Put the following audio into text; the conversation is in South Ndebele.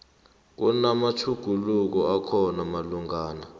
kunamatjhuguluko akhona malungana